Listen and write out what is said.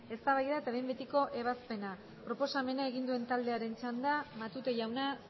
eztabaida eta behin betiko ebazpena proposamena egin duen taldearen txanda matute jauna